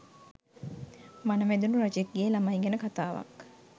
වන වැදුනු රජෙක්ගෙ ලමයි ගැන කතාවක්